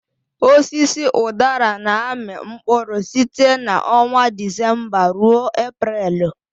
Osisi udara na-amị mkpụrụ site na ọnwa Disemba ruo Eprelu.